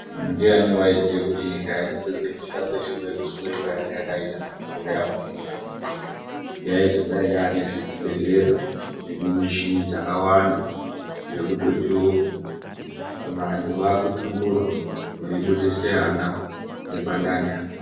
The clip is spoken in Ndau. Ndiani waiziya kuti nyika yedu nekusarire shure kwayanga yakaita makore apfuura, yaizodayi yaane zvibhedhlera zvinemishini dzakawanda zvekutotiwo vantu vakutumburwa veibudise ana nepandani apa.